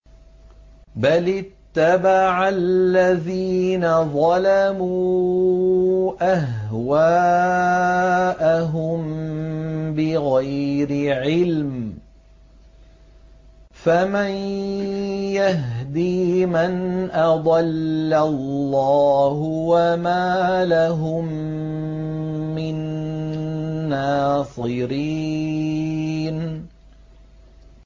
بَلِ اتَّبَعَ الَّذِينَ ظَلَمُوا أَهْوَاءَهُم بِغَيْرِ عِلْمٍ ۖ فَمَن يَهْدِي مَنْ أَضَلَّ اللَّهُ ۖ وَمَا لَهُم مِّن نَّاصِرِينَ